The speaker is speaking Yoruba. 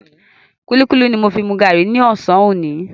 Kúlíkúlí ni mo fi mu gàárì ní ọ̀sán òní.